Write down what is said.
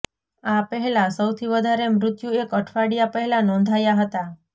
આ પહેલા સૌથી વધારે મૃત્યુ એક અઠવાડિયા પહેલા નોંધાયા હતા